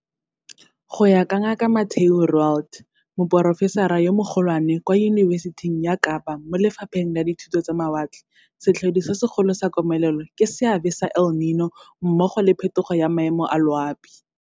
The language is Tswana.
Go ya ka Ngaka Mathieu Roualt, Moporofesara yo Mogo lwane kwa Yunibesiting ya Kapa mo Lefapheng la Dithuto tsa Mawatle, setlhodi se segolo sa komelelo ke seabe sa El Nino mmogo le phetogo ya maemo a loapi.